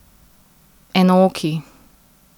Enooki.